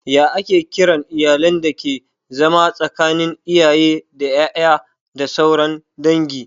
Ya ake kiran iyalin dake zama tsakanin iyaye da ƴaƴa da sauran dangi?